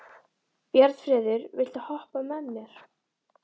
Bjarnfreður, viltu hoppa með mér?